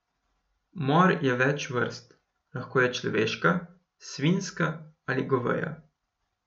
Mor je več vrst, lahko je človeška, svinjska ali goveja.